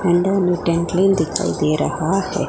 अंदर में दिखाई दे रहा है।